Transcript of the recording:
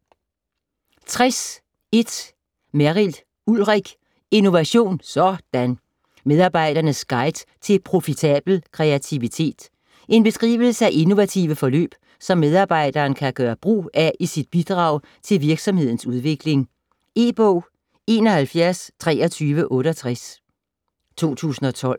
60.1 Merrild, Ulrik: Innovation - sådan!: Medarbejderens guide til profitabel kreativitet En beskrivelse af innovative forløb som medarbejderen kan gøre brug af i sit bidrag til virksomhedens udvikling. E-bog 712368 2012.